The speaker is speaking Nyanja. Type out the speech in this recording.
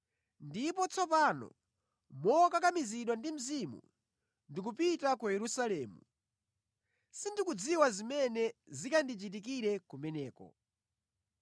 “Ndipo tsopano, mokakamizidwa ndi Mzimu, ndikupita ku Yerusalemu, sindikudziwa zimene zikandichitikire kumeneko.”